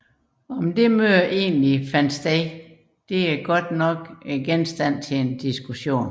Hvorvidt dette møde faktisk fandt sted er dog genstand for diskussion